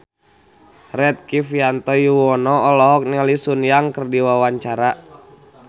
Rektivianto Yoewono olohok ningali Sun Yang keur diwawancara